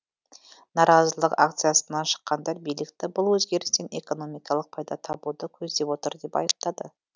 наразылық акциясына шыққандар билікті бұл өзгерістен экономикалық пайда табуды көздеп отыр деп айыптады